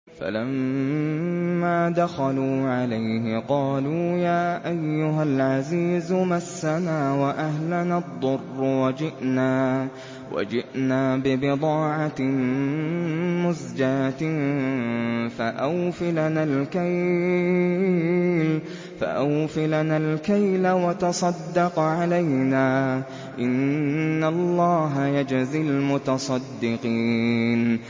فَلَمَّا دَخَلُوا عَلَيْهِ قَالُوا يَا أَيُّهَا الْعَزِيزُ مَسَّنَا وَأَهْلَنَا الضُّرُّ وَجِئْنَا بِبِضَاعَةٍ مُّزْجَاةٍ فَأَوْفِ لَنَا الْكَيْلَ وَتَصَدَّقْ عَلَيْنَا ۖ إِنَّ اللَّهَ يَجْزِي الْمُتَصَدِّقِينَ